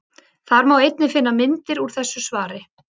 Þar má einnig finna myndir úr þessu svari.